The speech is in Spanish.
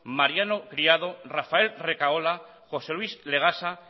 mariano criado rafael recaola josé luis legasa